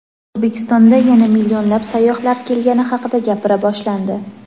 O‘zbekistonda yana "millionlab sayyohlar" kelgani haqida gapira boshlandi.